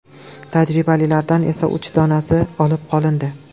Tajribalilardan esa uch donasi olib qolindi.